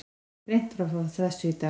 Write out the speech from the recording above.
Greint var frá þessu í dag